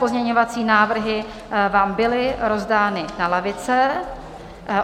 Pozměňovací návrhy vám byly rozdány na lavice.